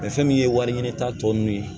fɛn min ye wari ɲini ta tɔ nunnu ye